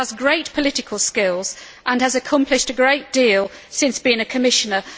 She has great political skills and has accomplished a great deal since being a Commissioner.